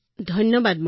ধন্যবাদ মহোদয়